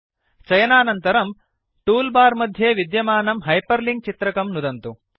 चयनानन्तरं tool bar मध्ये विद्यमानं hyperlink चित्रकं नुदन्तु